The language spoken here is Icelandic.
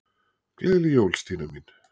Gleðileg jól, Stína mín.